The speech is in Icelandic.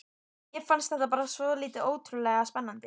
Mér fannst þetta bara svo ótrúlega spennandi.